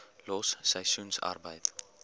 los seisoensarbeid